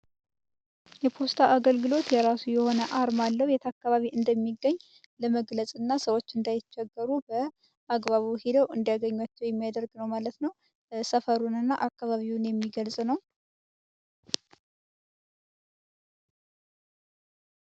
የፖስታ አገልግሎት የራ የሆነ አርማለሁ የታከባቢ እንደሚገኝ ለመግለጽና ሰዎች እንዳይቸገሩ አግባቡ ሄደው የሚያደርግ ነው ማለት ነው